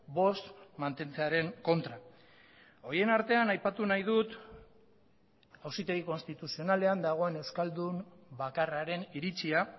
bost mantentzearen kontra horien artean aipatu nahi dut auzitegi konstituzionalean dagoen euskaldun bakarraren iritzia